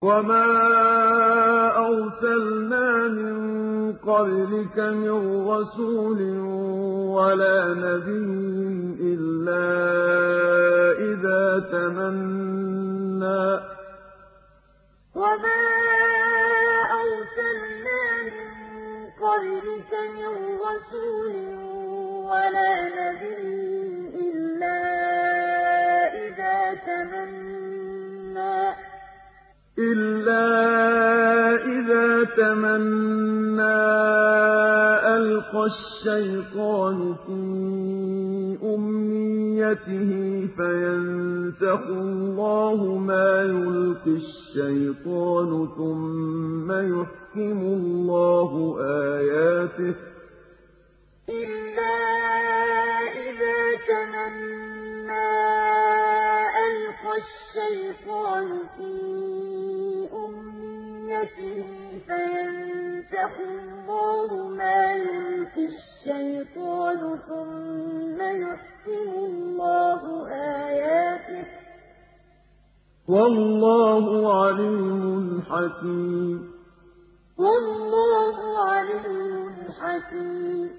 وَمَا أَرْسَلْنَا مِن قَبْلِكَ مِن رَّسُولٍ وَلَا نَبِيٍّ إِلَّا إِذَا تَمَنَّىٰ أَلْقَى الشَّيْطَانُ فِي أُمْنِيَّتِهِ فَيَنسَخُ اللَّهُ مَا يُلْقِي الشَّيْطَانُ ثُمَّ يُحْكِمُ اللَّهُ آيَاتِهِ ۗ وَاللَّهُ عَلِيمٌ حَكِيمٌ وَمَا أَرْسَلْنَا مِن قَبْلِكَ مِن رَّسُولٍ وَلَا نَبِيٍّ إِلَّا إِذَا تَمَنَّىٰ أَلْقَى الشَّيْطَانُ فِي أُمْنِيَّتِهِ فَيَنسَخُ اللَّهُ مَا يُلْقِي الشَّيْطَانُ ثُمَّ يُحْكِمُ اللَّهُ آيَاتِهِ ۗ وَاللَّهُ عَلِيمٌ حَكِيمٌ